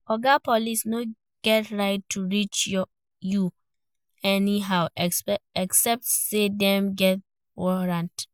Oga police no get right to search you anyhow except say dem get warrant